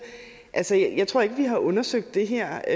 tror jeg ikke vi har undersøgt det her